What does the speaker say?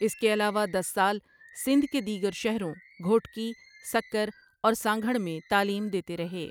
اس کے علاوہ دس سال سندھ کے دیگر شہروں گھوٹکی، سکر اور سانگھڑ میں تعلیم دیتے رہے ۔